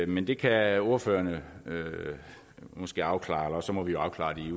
men det kan ordførerne måske afklare eller også må vi jo afklare det